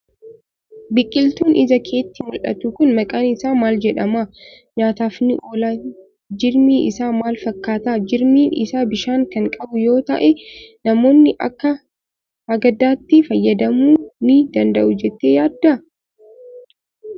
Biqiltuun ija keetti mul'atu kun maqaan isaa maal jedhama? Nyaataaf ni oolaa? Jirmi isaa maal fakkaata? Jirmi isaa bishaan kan qabu yoo ta'e, namoonni akka hagadaatti fayyadamuu ni danda'u jettee yaaddaa?